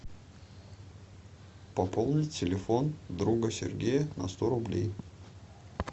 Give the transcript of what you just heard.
пополнить телефон друга сергея на сто рублей